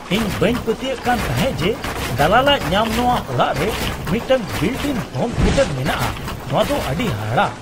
ᱤᱧ ᱵᱟᱹᱧ ᱯᱟᱹᱛᱭᱟᱹᱜ ᱠᱟᱱ ᱛᱟᱦᱮᱸᱫ ᱡᱮ ᱫᱟᱞᱟᱞᱼᱟᱜ ᱧᱟᱢ ᱱᱚᱶᱟ ᱚᱲᱟᱜ ᱨᱮ ᱢᱤᱫᱴᱟᱝ ᱵᱤᱞᱴᱼᱤᱱ ᱦᱳᱢ ᱛᱷᱤᱭᱮᱴᱟᱨ ᱢᱮᱱᱟᱜᱼᱟ ᱾ ᱱᱚᱶᱟ ᱫᱚ ᱟᱹᱰᱤ ᱦᱟᱦᱟᱲᱟ !